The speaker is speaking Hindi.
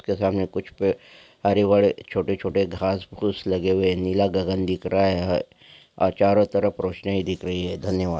उसके सामने कुछ हरे भरे छोटे-छोटे घास फूस लगे हुए है नीला गगन दीख रहा है और चारो तरफ रोशनाई दिख रही है धन्यवाद।